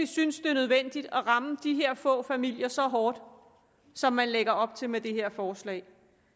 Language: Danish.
synes det er nødvendigt at ramme de her få familier så hårdt som man lægger op til med det her forslag